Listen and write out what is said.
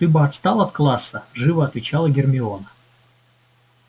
ты бы отстал от класса живо отвечала гермиона